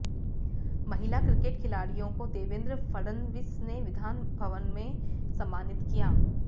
महिला क्रिकेट खिलाड़ियों को देवेंद्र फडणवीस ने विधानभवन में सम्मानित किया